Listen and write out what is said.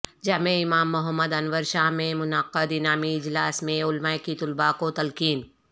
جامعہ امام محمد انور شاہ میں منعقد انعامی اجلاس میں علماء کی طلباء کو تلقین